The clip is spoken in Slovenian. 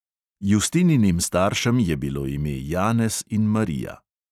Justininim staršem je bilo ime janez in marija.